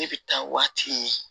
Ne bɛ taa waati ɲini